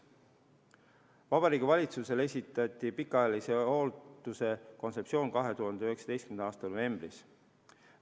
Vabariigi Valitsusele esitati pikaajalise hoolduse kontseptsioon 2019. aasta novembris.